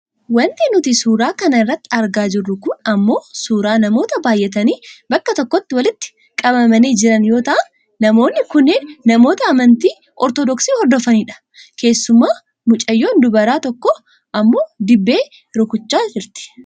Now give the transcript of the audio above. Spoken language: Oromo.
Wanti nuti suuraa kana irratti argaa jirru kun ammoo suuraa namoota baayyatanii bakka tokkotti walitti qabamanii jiran yoo ta'an namoonni kunneen namoota amantii ortodoksi hordofanidha. Keessumaa mucayyoon dubaaraa tokko ammoo dibbee rukuchaa jirti.